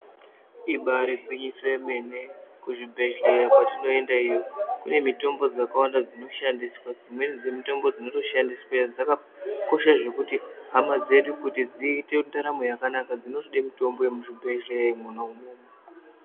Ibari gwinyiso yemene kuzvibhedhleya kwatinoenda iyo kune mitombo dzakawanda dzinoshandiswa dzimweni dzemitombo dzinotoshandisweyo dzakakosha zvekuti nhamo dzedu kuti dziite ndaramo yakanaka dzinotode mutombo yemuzvibhedhleya mwona umwomwo.